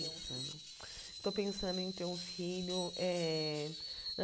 Estou pensando estou pensando em ter um filho. Eh